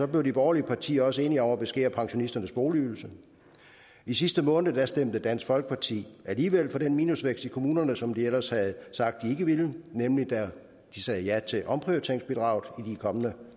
blev de borgerlige partier også enige om at beskære pensionisternes boligydelse i sidste måned stemte dansk folkeparti alligevel for den minusvækst i kommunerne som de ellers havde sagt de ikke ville nemlig da de sagde ja til omprioriteringsbidraget i de kommende